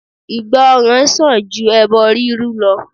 Ìgbọ́ràn sàn ju ẹbọ rírú lọ.